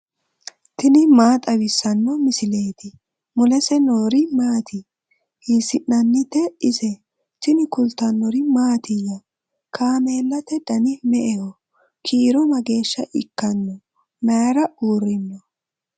tini maa xawissanno misileeti ? mulese noori maati ? hiissinannite ise ? tini kultannori mattiya? Kaameelate danni me'eho? kiiro mageesha ikkanno? mayiira uurinno?